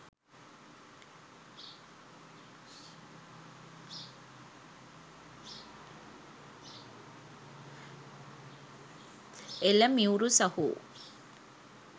එල මියුරු සහෝ